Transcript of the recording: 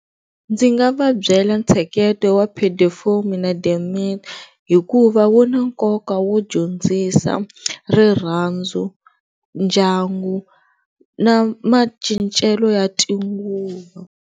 Ndzi nga va byela ntsheketo wa hikuva wu na nkoka wo dyondzisa rirhandzu, ndyangu na macincelo ya .